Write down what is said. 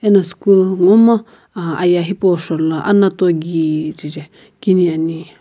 ena school momu ah ayeh hipau shou la anato kije kini ani.